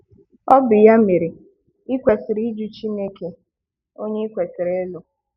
Ọ bụ ya mere i kwesịrị ịjụ CHINEKE ONYE i kwesịrị ịlụ!